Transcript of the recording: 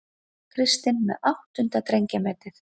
Kristinn með áttunda drengjametið